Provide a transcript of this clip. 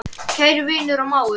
Kæri vinur og mágur.